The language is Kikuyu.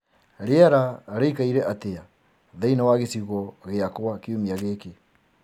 rĩera rĩĩkaĩre atĩa thĩĩni wa gicigo giakwa kĩumĩa giki